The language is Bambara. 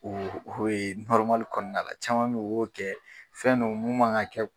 O o ye kɔɔna la caman be ye o b'o kɛ fɛn don mun man ŋa kɛ